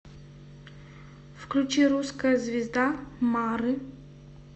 включи русская звезда мары